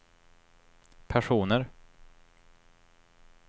personer